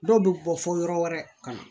Dɔw bɛ bɔ fɔ yɔrɔ wɛrɛ ka na